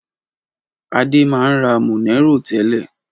Adé máa ń ra Monero tẹ́lẹ̀.